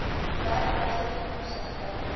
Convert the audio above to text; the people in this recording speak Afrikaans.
werkwyse ten opsigte